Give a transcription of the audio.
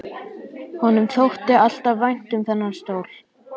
Honum þótti alltaf vænt um þennan stól.